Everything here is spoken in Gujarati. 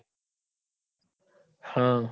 હા